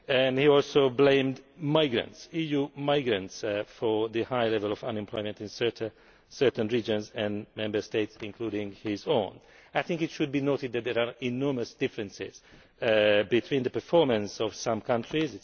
He also blamed EU migrants for the high level of unemployment in certain regions and Member States, including his own. I think it should be noted that there are enormous differences between the performance of some countries.